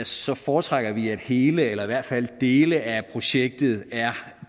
så foretrækker vi at hele eller i hvert fald dele af projektet